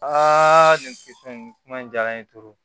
nin fɛn in kuma in diyara n ye